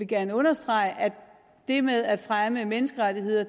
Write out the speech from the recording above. gerne understrege at det med at fremme menneskerettigheder